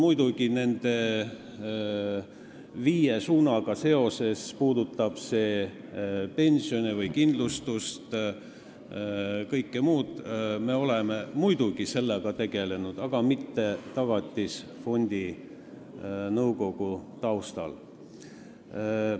Muidugi, nende viie suunaga seoses, mis puudutavad pensione, kindlustust või kõike muud sellist, me oleme sellega tegelenud, aga mitte Tagatisfondi nõukogu teema taustal.